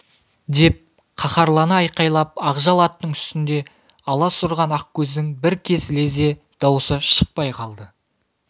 деп қаһарлана айқайлап ақжал аттың үстінде алас ұрған ақкөздің бір кез лезде дауысы шықпай қалды